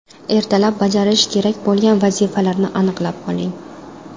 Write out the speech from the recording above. Ertalab bajarish kerak bo‘lgan vazifalarni aniqlab oling.